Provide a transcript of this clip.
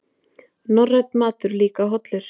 Norrænn matur líka hollur